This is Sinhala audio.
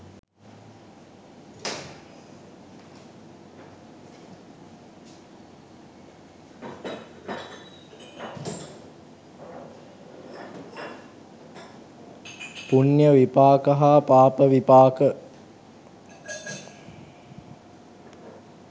පුණ්‍ය විපාක හා පාප විපාක